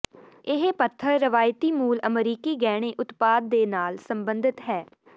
ਇਹ ਪੱਥਰ ਰਵਾਇਤੀ ਮੂਲ ਅਮਰੀਕੀ ਗਹਿਣੇ ਉਤਪਾਦ ਦੇ ਨਾਲ ਸੰਬੰਧਿਤ ਹੈ